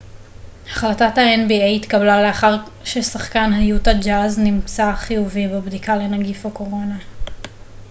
החלטת האן.בי.איי התקבלה לאחר ששחקן היוטה ג'אז נמצאר חיובי בבדיקה לנגיף הקורונה